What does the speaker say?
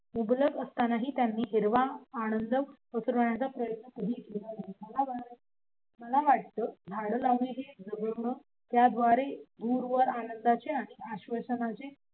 मुबलक असतानाही त्यांनी हिरवा आनंद पसआनंदाचे आणि आश्वासनांचेरवण्याच्या मला वाटते झाड लावणे जगवणे त्याद्वारे दूरवर